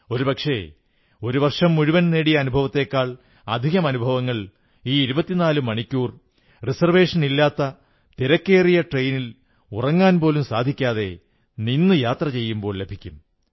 ഒരുപക്ഷേ വർഷം മുഴുവൻ നേടിയ അനുഭവത്തേക്കാൾ അധികം അനുഭവങ്ങൾ ഈ 24 മണിക്കൂർ റിസർവേഷനില്ലാത്ത തിരക്കേറിയ ട്രെയിനിൽ ഉറങ്ങാൻ പോലും സാധിക്കാതെ നിന്നു യാത്ര ചെയ്യുമ്പോൾ ലഭിക്കും